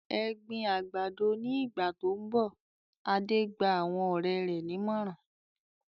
"Ẹ gbin àgbàdo ní ìgbà tó ń bọ̀!" Adé gba àwọn ọ̀rẹ́ rẹ̀ nímọ̀ràn.